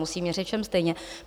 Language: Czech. Musím měřit všem stejně.